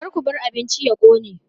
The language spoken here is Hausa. Ka ku bar abincin ya ƙone!